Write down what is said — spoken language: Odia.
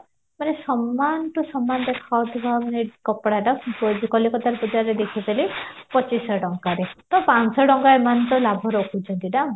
ମାନେ ସମାନ to ସମାନ ଦେଖାଯାଉଥିବା ମାନେ କପଡା ଟା କଲିକତାରେ ବଜାରରେ ଦେଖିଥିଲି ପଚିଶହ ଟଙ୍କାରେ ତ ପଞ୍ଚଶହ ଟଙ୍କା ଏମାନେ ତ ଲାଭ ରଖୁଛନ୍ତି ଦାମ